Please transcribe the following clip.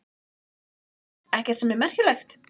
Jóhann: Ekkert sem er merkjanlegt?